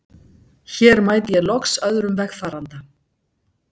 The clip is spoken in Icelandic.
Hér mæti ég loks öðrum vegfaranda.